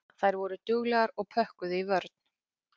Þær voru duglegar og pökkuðu í vörn.